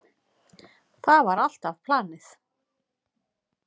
Það var alltaf planið.